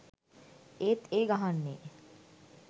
ඒත් ඒ ගහන්නේ